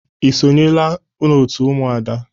Ị sonyela n'otu Ụmụada?